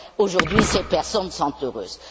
Aujourd'hui, ces personnes sont heureuses.